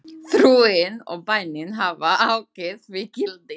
Trúin og bænin hafa aukið því gildi.